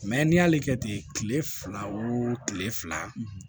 n'i y'ale kɛ ten kile fila wo kile fila